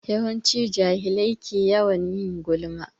Yawanci jahilai ke yawan yin gulma.